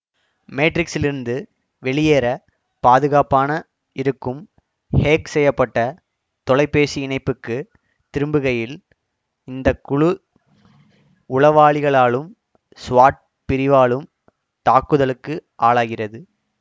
மேட்ரிக்ஸிலிருந்து வெளியேற பாதுகாப்பான இருக்கும் ஹேக் செய்ய பட்ட தொலைபேசி இணைப்புக்கு திரும்புகையில் இந்த குழு உளவாளிகளாலும் ஸ்வாட் பிரிவாலும் தாக்குதலுக்கு ஆளாகிறது